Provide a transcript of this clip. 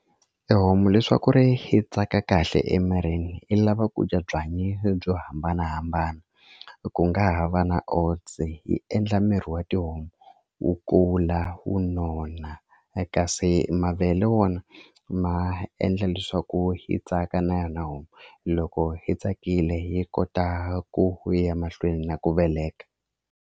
E homu leswaku ri yi tsaka kahle emirini i lava ku dya byanyi byo hambanahambana ku nga ha va na oats yi endla miri wa tihomu wu kula wu nona kasi mavele wona ma endla leswaku yi tsaka na yona homu loko yi tsakile yi kota ku ku ya mahlweni na ku veleka.